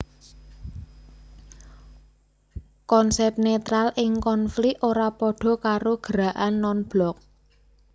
Konsep netral ing konflik ora padha karo gerakan non blok